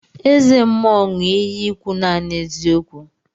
Eze mmuo ṅu iyi ikwu nani eziokwu.